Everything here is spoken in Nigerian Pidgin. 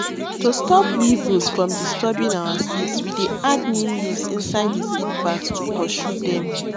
to stop weevils from disturbing our seeds we dey add neem leaves inside the seed bags to pursue dem